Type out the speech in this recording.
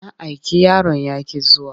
Na aiki yaron ya ƙi zuwa.